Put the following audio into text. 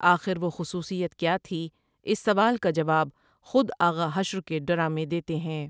آخر وہ خصوصیت کیا تھی اِس سوال کا جواب خود آغا حشر کے ڈرامے دیتے ہیں ۔